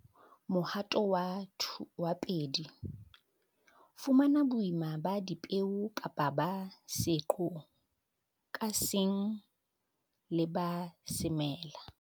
Mohato wa 2. Fumana boima ba dipeo kapa ba seqo ka seng le ba semela